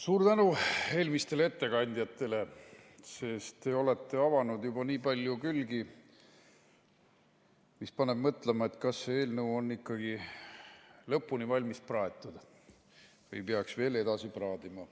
Suur tänu eelmistele ettekandjatele, sest te olete avanud juba nii palju külgi, mis paneb mõtlema, et kas see eelnõu on ikkagi lõpuni valmis praetud või peaks veel edasi praadima.